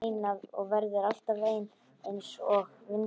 Hún er ein og verður alltaf ein einsog vindurinn.